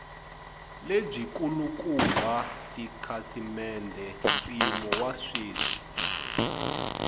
lebyikulukumba tikhasimende mpimo wa sweswi